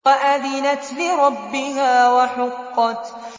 وَأَذِنَتْ لِرَبِّهَا وَحُقَّتْ